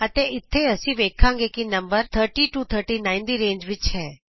ਅਤੇ ਇਥੇ ਅਸੀਂ ਵੇਖਾਂਗੇ ਕਿ ਨੰਬਰ 30 39 ਦੀ ਰੇਂਜ ਵਿਚ ਹੈ